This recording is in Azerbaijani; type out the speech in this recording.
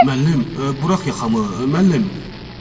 Müəllim, burax yaxamı, müəllim.